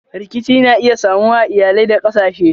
Rikici na iya samuwa a iyalai da kasashe.